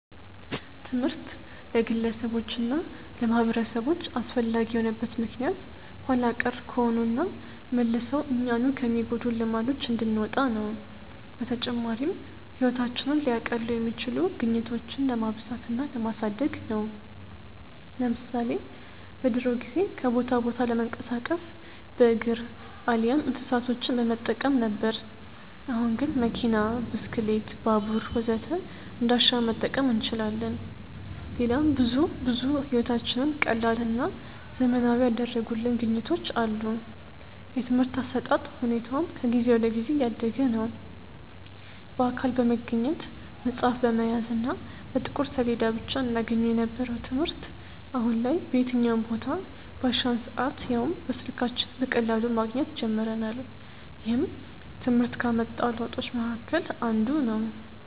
ትምህርት ለግለሰቦች እና ለማህበረሰቦች አስፈላጊ የሆነበት ምክንያት ኋላ ቀር ከሆኑና መልሰው እኛኑ ከሚጎዱን ልማዶች እንድንወጣ ነው። በተጨማሪም ህይወታችንን ሊያቀሉ የሚችሉ ግኝቶችን ለማብዛት እና ለማሳደግ ነው። ለምሳሌ በድሮ ጊዜ ከቦታ ቦታ ለመንቀሳቀስ በእግር አሊያም እንስሳቶችን በመጠቀም ነበር። አሁን ግን መኪና፣ ብስክሌት፣ ባቡር ወዘተ እንዳሻን መጠቀም እንችላለን። ሌላም ብዙ ብዙ ህይወታችንን ቀላልና ዘመናዊ ያደረጉልን ግኝቶች አሉ። የትምርህት አሰጣጥ ሁኔታውም ከጊዜ ወደ ጊዜ እያደገ ነዉ። በአካል በመገኘት፣ መፅሀፍ በመያዝ እና በጥቁር ሰሌዳ ብቻ እናገኘው የነበረውን ትምህርት አሁን ላይ በየትኛውም ቦታ፣ ባሻን ሰአት ያውም በስልካችን በቀላሉ ማግኘት ጀምረናል። ይህም ትምህርት ካመጣው ለውጦች መሀከል አንዱ ነው።